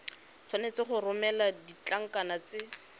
tshwanetse go romela ditlankana tse